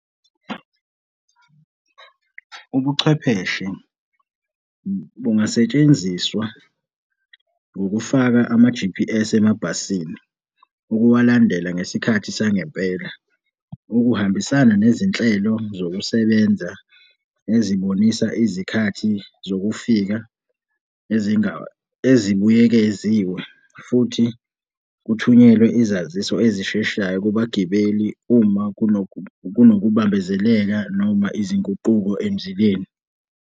Ubuchwepheshe bungasetshenziswa ngokufaka ama-G_P_S emabhasini ukuwulandela ngesikhathi sangempela. Ukuhambisana nezinhlelo zokusebenza ezobonisa izikhathi zokufika ezibuyekeziwe futhi kuthunyelwe izaziso ezisheshayo kubagibeli uma kunokubambezeleka noma izinguquko emzileni.